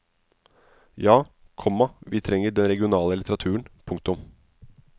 Ja, komma vi trenger den regionale litteraturen. punktum